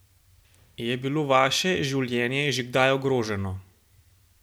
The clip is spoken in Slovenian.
Je bilo vaše življenje že kdaj ogroženo?